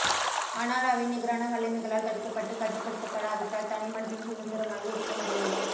ஆனால் அவை நிகரான வல்லமைகளால் தடுக்கப்பட்டு கட்டுப்படுத்தப்படாவிட்டால் தனிமனிதன் சுதந்திரமாக இருக்கமுடியாது